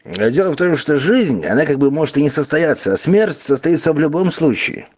дело в том что жизнь она как бы может и не состоятся а смерть состоится в любом случае